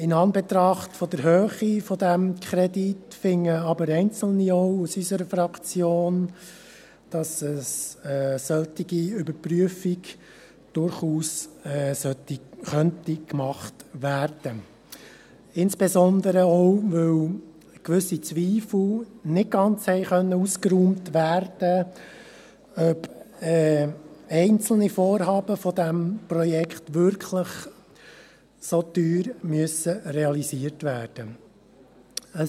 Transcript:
In Anbetracht der Höhe dieses Kredits finden einzelne aus unserer Fraktion aber auch, dass eine solche Überprüfung durchaus gemacht werden könnte, insbesondere auch, weil gewisse Zweifel nicht ausgeräumt werden konnten, ob einzelne Vorhaben dieses Projekts wirklich so teuer realisiert werden müssen.